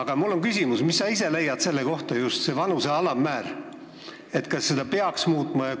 Aga mul on küsimus: mis sa ise leiad, kas seda vanuse alammäära peaks muutma?